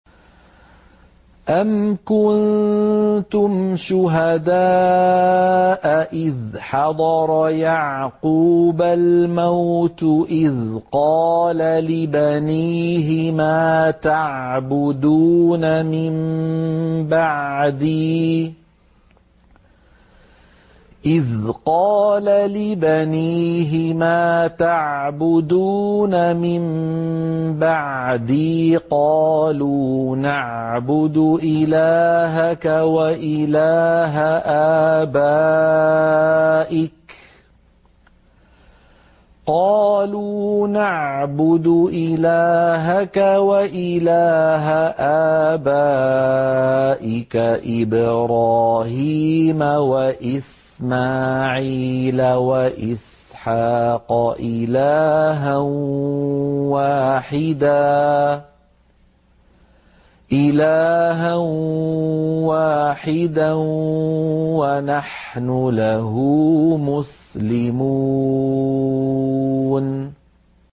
أَمْ كُنتُمْ شُهَدَاءَ إِذْ حَضَرَ يَعْقُوبَ الْمَوْتُ إِذْ قَالَ لِبَنِيهِ مَا تَعْبُدُونَ مِن بَعْدِي قَالُوا نَعْبُدُ إِلَٰهَكَ وَإِلَٰهَ آبَائِكَ إِبْرَاهِيمَ وَإِسْمَاعِيلَ وَإِسْحَاقَ إِلَٰهًا وَاحِدًا وَنَحْنُ لَهُ مُسْلِمُونَ